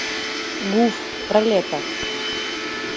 гуф про лето